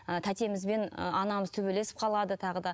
ы тәтеміз бен ы анамыз төбелесіп қалады тағы да